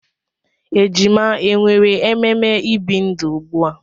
Ejima e nwere ememe ibi ndụ ugbu a?